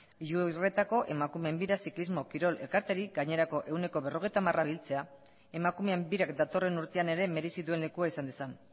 iurretako emakumeen bira ziklismo kirol elkarteari gainerako ehuneko berrogeita hamar biltzea emakumeen birak datorren urtean ere merezi duen lekua izan dezan